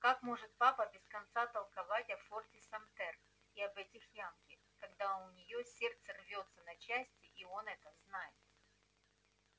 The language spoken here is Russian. как может папа без конца толковать о форте самтер и об этих янки когда у неё сердце рвётся на части и он это знает